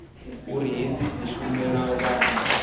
uri hedzi tshumelo vha a